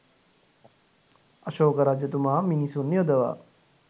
අශෝක රජතුමා මිනිසුන් යොදවා